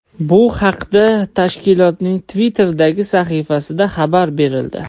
Bu haqda tashkilotning Twitter’dagi sahifasida xabar berildi.